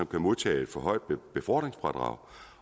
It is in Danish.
kan modtage et forhøjet befordringsfradrag